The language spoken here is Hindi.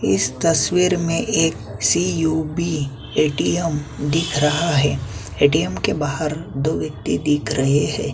इस तस्वीर में एक सी_यू_बी ए_टी_एम दिख रहा है ए_टी_एम के बाहर दो व्यक्ति देख रहे हैं।